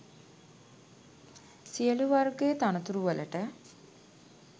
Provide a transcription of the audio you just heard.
සියළු වර්ගයේ තනතුරු වලට